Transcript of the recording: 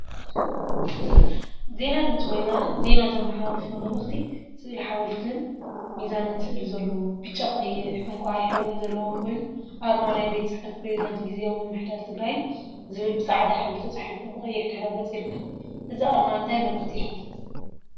ዜና ድምፂ ወያነ ዜና ዘመሓላፎ መልእክቲ ስእሊ ሓወልቲን ሚዛንን ስእሊ ዘለዎ ብጫ፣ ቀይሕ፣ ዕንቋይ ሕብሪን ዘለዎ ኮይኑ፤ አርማ ናይ ቤት ፅሕፈት ፕረዚደንት ግዝያዊ ምምሕዳር ትግራይ ዝብል ብፃዕዳ ሕብሪ ተፃሒፉ ብቀይሕ ድሕረ ገፅ ይርከብ፡፡ እዚ አርማ እንታይ መልእክቲ የሕልፍ?